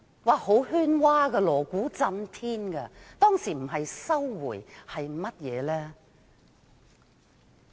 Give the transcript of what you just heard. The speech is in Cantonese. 一片喧嘩，鑼鼓震天，當時不是收回香港主權是甚麼？